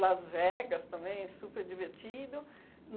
Las Vegas também, super divertido.